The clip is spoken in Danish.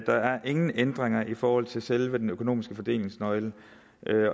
der er ingen ændringer i forhold til selve den økonomiske fordelingsnøgle